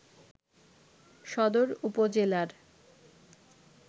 সদর উপজেলার